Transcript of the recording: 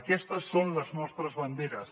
aquestes són les nostres banderes